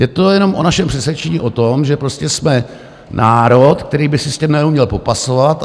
Je to jenom o našem přesvědčení o tom, že prostě jsme národ, který by se s tím neuměl popasovat.